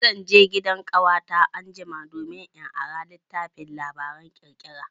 Zan je gidan ƙawata anjima domin in ara littafin labaran ƙirƙira.